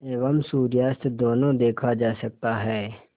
एवं सूर्यास्त दोनों देखा जा सकता है